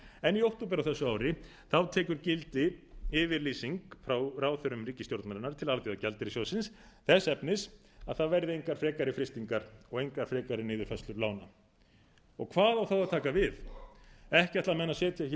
því í október á þessu ári tekur gildi yfirlýsing frá ráðherrum ríkisstjórnarinnar til alþjóðagjaldeyrissjóðsins þess efnis að það verði engar frekari frystingar og engar frekari niðurfærslur lána hvað á þá að taka við ekki ætla menn að setja hér